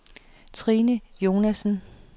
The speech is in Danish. Trine Jonassen